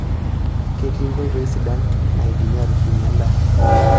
Ketii nkoitoi sidain naidimi atushumie endaa